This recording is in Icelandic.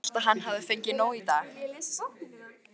Ég hélt að hann hefði fengið nóg í dag.